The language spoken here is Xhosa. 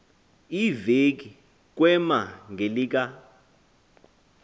iveki kwema ngelika